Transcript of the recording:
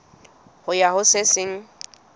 ho ya ho se seng